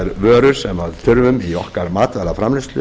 vörur sem við þurfum í okkar matvælaframleiðslu